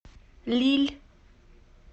лилль